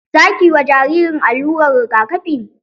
Za ki yi ma jaririn allurar rigakafi?